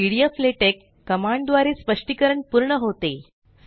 pdflatex command द्वारे स्पष्टीकरण पूर्ण होते